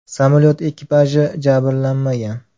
Samolyot ekipaji jabrlanmagan.